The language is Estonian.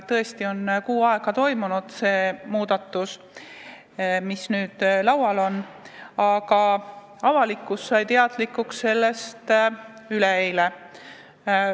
Kuu aja jooksul on toimunud muudatus, aga sellest variandist, mis nüüd laual on, sai avalikkus teadlikuks üleeile.